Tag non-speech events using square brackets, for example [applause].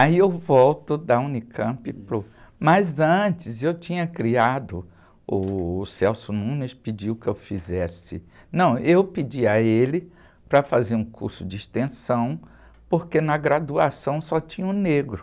Aí eu volto da unicampi para o... Mas antes eu tinha criado, o [unintelligible] pediu que eu fizesse... Não, eu pedi a ele para fazer um curso de extensão, porque na graduação só tinha um negro.